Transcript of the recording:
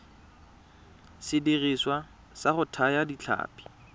sediriswa sa go thaya ditlhapi